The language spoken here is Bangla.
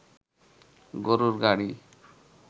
গরুর গাড়ি